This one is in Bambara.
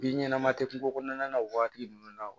Bin ɲɛnama tɛ kungo kɔnɔna na o waati ninnu na